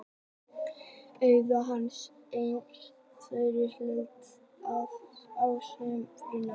Austurríki gafst upp en Rússland hélt áfram baráttunni ásamt Prússum.